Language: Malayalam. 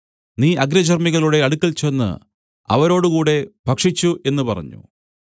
നീ അഗ്രചർമികളുടെ അടുക്കൽ ചെന്ന് അവരോടുകൂടെ ഭക്ഷിച്ചു എന്നു പറഞ്ഞു